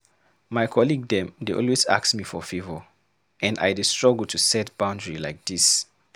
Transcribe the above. My colleague dem dey always ask me for favor, and I dey struggle to set boundary like dis.